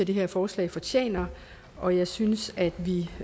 det her forslag fortjener og jeg synes at